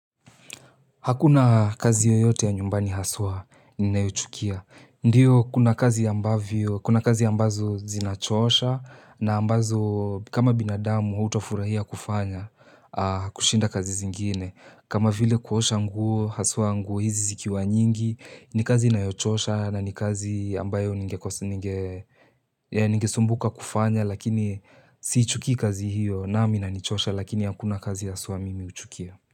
Hakuna kazi yoyote ya nyumbani haswa ninayochukia. Ndiyo kuna kazi ambazo zinachosha na ambazo kama binadamu utafurahia kufanya kushinda kazi zingine. Kama vile kuosha nguo haswa nguo hizi zikiwa nyingi ni kazi inayochosha na ni kazi ambayo ninge sumbuka kufanya lakini siichukii kazi hiyo nami inanichosha lakini hakuna kazi haswa mimi huchukia.